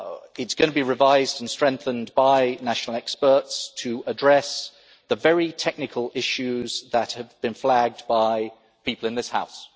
It is going to be revised and strengthened by national experts to address the very technical issues that had been flagged by people in this House.